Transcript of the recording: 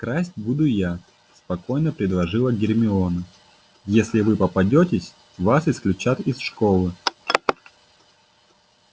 красть буду я спокойно предложила гермиона если вы попадётесь вас исключат из школы